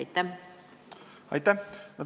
Aitäh!